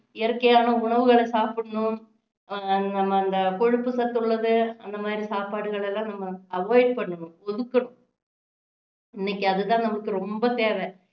இயற்கையான உணவுகளை சாப்பிடணும் ஆஹ் அந்த கொழுப்பு சத்து உள்ளது அந்த மாதிரி சாப்பாடுகளை எல்லாம் நம்ம avoid பண்ணணும் ஒதுக்கணும் இன்னைக்கு அது தான் நமக்கு ரொம்ப தேவை